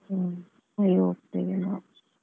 ಹ್ಮ್ ಅಲ್ಲಿ ಹೋಗ್ತೇವೆ ನಾವು.